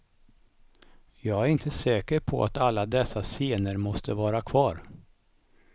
Jag är inte säker på att alla dessa scener måste vara kvar.